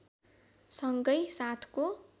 सँगै साथको